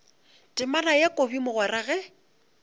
temana ya kobi mogwera ge